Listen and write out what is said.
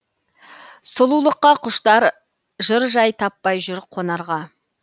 сұлулыққа құштар жыр жай таппай жүр қонарға